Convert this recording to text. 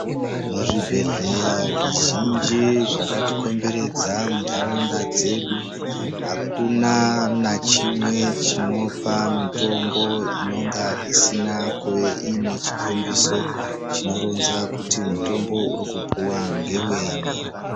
Muzvibhedhleya zvizhinji zvakatikomberwdza muntaraunda dzedu akuna nachimwe chinopa mutombo inonga isina kuve iine chikombiso chinoronza kuti mutombo wauri kupuwa ngewenyi.